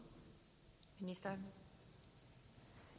havde